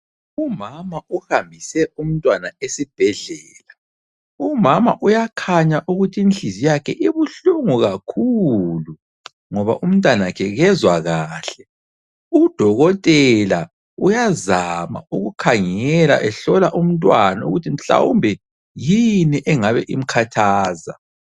Umama uhambise umntwana esibhedlela. Umama uyakhanya ukuthi inhliziyo yakhe ibuhlungu kakhulu, ngoba umntanakhe kezwa kahle. Udokotela uyazama ukukhangela ehlola umntwana ukuthi mhlawumbe yini engabe imkhathaza.